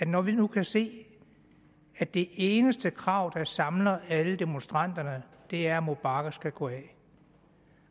når vi nu kan se at det eneste krav der samler alle demonstranterne er at mubarak skal gå af